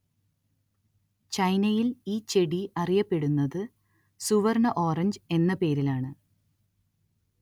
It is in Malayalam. ചൈനയില്‍ ഈ ചെടി അറിയപ്പെടുന്നത് സുവര്‍ണ്ണ ഓറഞ്ച് എന്ന പേരിലാണ്‌